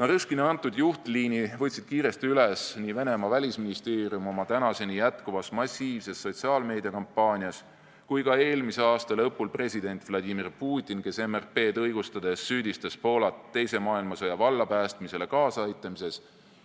Narõškini antud juhtliini võtsid kiiresti üles nii Venemaa välisministeerium oma tänaseni jätkuvas massiivses sotsiaalmeediakampaanias kui ka eelmise aasta lõpul president Vladimir Putin, kes MRP-d õigustades süüdistas Poolat teise maailmasõja vallapäästmisele kaasaaitamises